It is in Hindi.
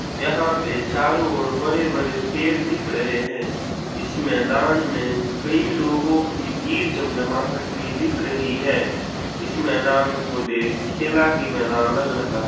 यहा पे चारों और बड़े-बड़े पैड दिख रहे है इस मेदान मे कई लोगों की भीड़ जम-जमाहट भी दिख रही है इस मेदान को देख खेला मेदान लग रहा है।